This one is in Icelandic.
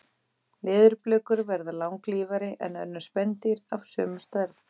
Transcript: Leðurblökur verða langlífari en önnur spendýr af sömu stærð.